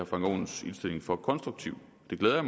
frank aaens indstilling for konstruktiv det glæder